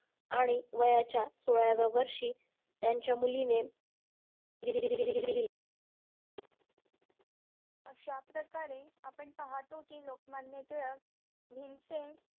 आणि वयाच्या सोळाव्या वर्षी त्यांच्या मुलीने अशा प्रकारे आपण पाहतो कि लोकमान्य टिळक भीमसेन